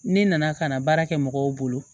Ne nana ka na baara kɛ mɔgɔw bolo